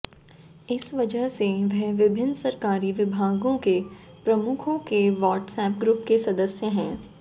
इस वजह से वह विभिन्न सरकारी विभागों के प्रमुखों के वाट्सएप ग्रुप के सदस्य हैं